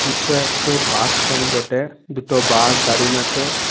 ইটো একটো bus stand বটে। দুটো বাস দাড়িন আছে।